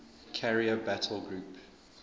carrier battle group